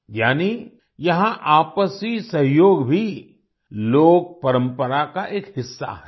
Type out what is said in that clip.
यानी यहाँ आपसी सहयोग भी लोकपरंपरा का एक हिस्सा है